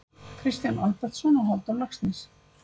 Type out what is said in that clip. Kristján Albertsson og Halldór Laxness